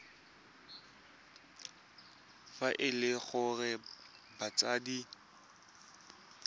fa e le gore batsadi